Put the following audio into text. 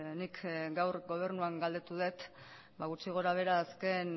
nik gaur gobernuan galdetu dut gutxi gora behera azken